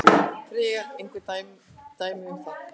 Freyja: Einhver dæmi um það?